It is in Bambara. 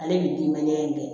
Ale bi mɛn in